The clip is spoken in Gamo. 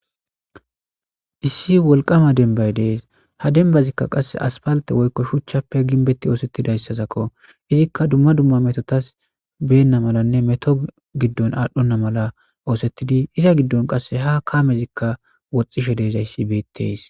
issi wolqama denbay dees ha denbazikka qasse aspalte woykko shuchchappe ginbetti oosettidayssazakko izikka dumma dumma metotas beenna malanne meto giddon aadhdhonna mala oosettidi iza giddon qasse ha kamezikka woxxishe deezayssi beettees